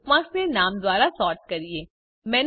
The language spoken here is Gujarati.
ચાલો બુકમાર્ક્સને નામ દ્વારા સૉર્ટ કરીએ